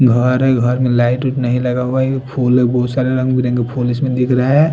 घर है घर में लाइट नहीं लगा हुआ है फुल अभी फुल बोहोत सारे रंग बिरंगे दिख रहे है।